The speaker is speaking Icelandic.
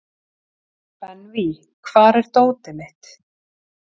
Benvý, hvar er dótið mitt?